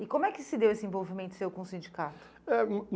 E como é que se deu esse envolvimento seu com o sindicato? Eh